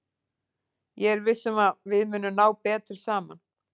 Ég er viss um að við munum ná betur saman.